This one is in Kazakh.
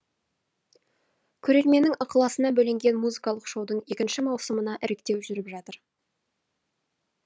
көрерменнің ықыласына бөленген музыкалық шоудың екінші маусымына іріктеу жүріп жатыр